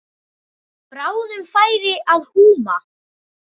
Bráðum færi að húma.